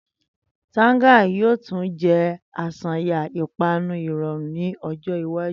Tanga yoo tun jẹ aṣayan ipanu irọrun ni ọjọ iwaju.